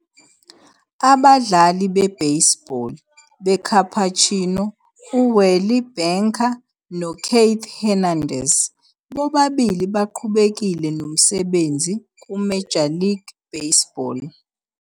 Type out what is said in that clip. Abadlali bebaseball beCapuchino uWally Bunker noKeith Hernandez bobabili baqhubekile nomsebenzi kuMajor League baseball.